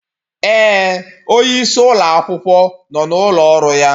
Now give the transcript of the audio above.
Ee, onyeisi ụlọ akwụkwọ nọ n'ụlọ ọrụ ya